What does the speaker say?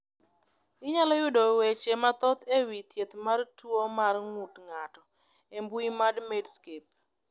Inyalo yudo weche mathoth e wi thieth mar tuo mar ng’ut ng’ato e mbui mar Medscape.